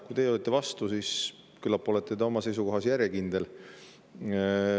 Kui teie olite vastu, siis küllap olete te oma seisukohas järjekindel.